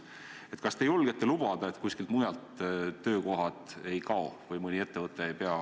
Kas te julgete lubada, et kuskilt mujalt töökohad ei kao või mõni ettevõte ei pea ...